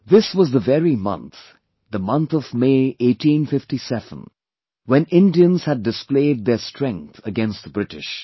This was the very month, the month of May 1857, when Indians had displayed their strength against the British